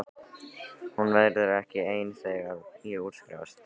Hún verður ekki ein þegar ég útskrifast.